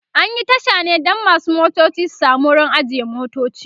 an Yi Tasha ne Dan masu motoci su samu wurin ajiye motoci